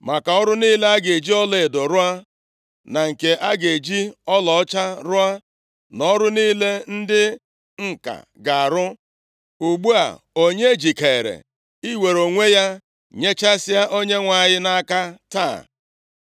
Maka ọrụ niile a ga-eji ọlaedo rụọ, na nke a ga-eji ọlaọcha rụọ, na ọrụ niile ndị ǹka ga-arụ. Ugbu a, onye jikeere iwere onwe ya nyechasịa Onyenwe anyị nʼaka taa?”